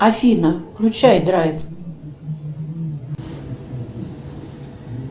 афина включай драйв